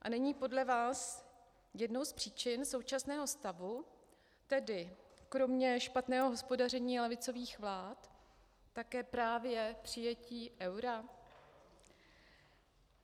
A není podle vás jednou z příčin současného stavu, tedy kromě špatného hospodaření levicových vlád, také právě přijetí eura?